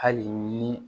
Hali ni